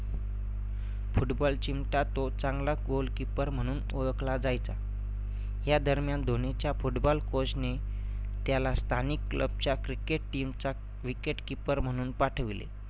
football team चा तो चांगला goalkeeper म्हणून ओळखला जायचा. या दरम्यान धोनीच्या football coach नी त्याला स्थानिक club च्या cricket team चा wicketkeeper म्हणून पाठविले.